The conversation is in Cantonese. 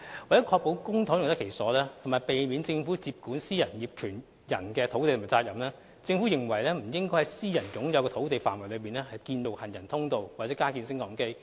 為了確保公帑用得其所及避免政府接管私人業權土地及責任，政府認為不應在私人擁有的土地範圍內，建造行人通道或加建升降機。